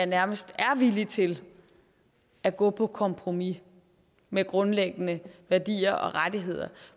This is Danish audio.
nærmest er villig til at gå på kompromis med grundlæggende værdier og rettigheder